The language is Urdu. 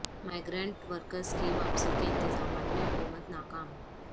مائیگرنٹ ورکرس کی واپسی کے انتظامات میں حکومت ناکام